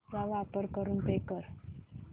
चा वापर करून पे कर